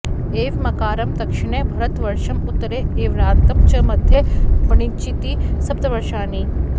एवमाकारं दक्षिणे भरतवर्षं उत्तरे ऐरावतं च मध्ये पञ्चेति सप्तवर्षाणि